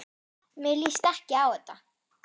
Mér líst ekki á þetta.